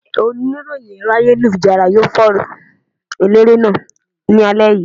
Oníròyìn ẹ̀rọ ayélujára yóò fòòró Eléré náà ní alẹ́ yìí.